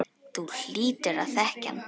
Þú hlýtur að þekkja hann.